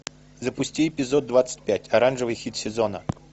запусти эпизод двадцать пять оранжевый хит сезона